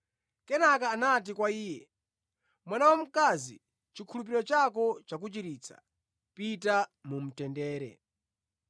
Kenaka anati kwa iye, “Mwana wamkazi, chikhulupiriro chako chakuchiritsa. Pita mu mtendere.”